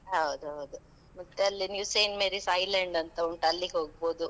ಹೌದೌದು. ಮತ್ತೆ ಅಲ್ಲಿ New Saint Mary's Island ಅಂತಾ ಉಂಟು, ಅಲ್ಲಿಗ್ ಹೋಗ್ಬೋದು.